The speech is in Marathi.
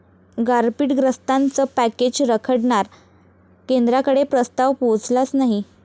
गारपीटग्रस्तांचं पॅकेज रखडणार?, केंद्राकडे प्रस्ताव पोहचलाच नाही